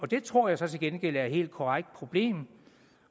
det tror jeg så til gengæld er et helt korrekt problem